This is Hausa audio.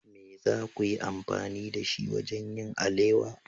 Me za ku yi amfani da shi wajen yin alewa?